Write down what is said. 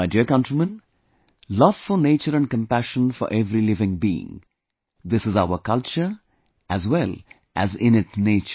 My dear countrymen, love for nature and compassion for every living being, this is our culture as well as innate nature